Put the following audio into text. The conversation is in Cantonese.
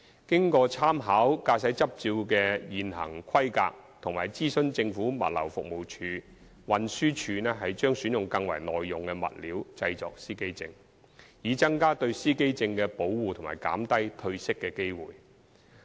經參考駕駛執照的現行規格及諮詢政府物流服務署，運輸署將選用更為耐用的物料製作司機證，以增加對司機證的保護及減低褪色的機會。